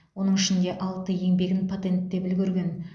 оның ішінде алты еңбегін патенттеп үлгерген